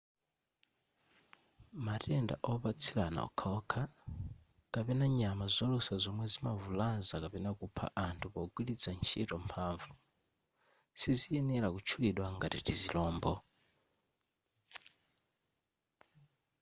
matenda opatsirana okhaokha kapena nyama zolusa zomwe zimavulaza kapena kupha anthu pogwiritsa ntchito mphamvu siziyenera kutchulidwa ngati tizilombo